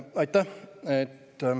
Aitäh!